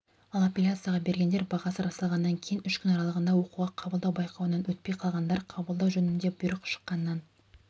ал аппеляцияға бергендер бағасы расталғаннан кейін үш күн аралығында оқуға қабылдау байқауынан өтпей қалғандар қабылдау жөнінде бұйрық шыққаннан